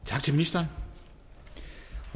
tak til ministeren